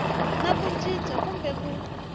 na ku cinca kumbe ku